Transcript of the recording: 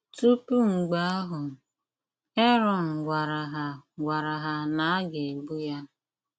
Tupu mgbe ahụ, Aron gwara ha gwara ha na a ga-egbu ya.